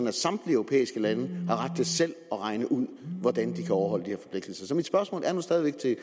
at samtlige europæiske lande har ret til selv at regne ud hvordan de kan overholde de her forpligtelser så mit spørgsmål er stadig væk til